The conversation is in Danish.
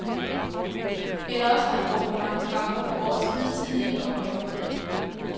Eller også har han brugt for mange kræfter på årets hidtidige opgaver.